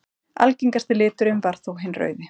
Algengasti liturinn varð þó hinn rauði.